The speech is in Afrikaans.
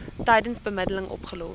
tydens bemiddeling opgelos